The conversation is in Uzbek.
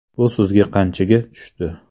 Bu sizga qanchaga tushdi?